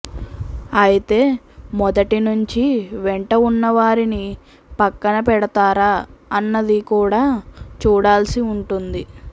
అయితే మొదటి నుంచి వెంట ఉన్నవారిని పక్కన పెడతారా అన్నది కూడా చూడాల్సి ఉంటుంది